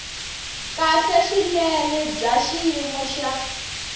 kahle swinene bya xiyimo xa